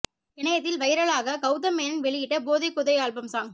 இனயத்தில் வைரலாக கௌதம் மேனன் வெளியிட்ட போதை கூதை ஆல்பம் சாங்